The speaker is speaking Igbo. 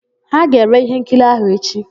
Ha ga-ere íhénkiri áhụ̀ echi.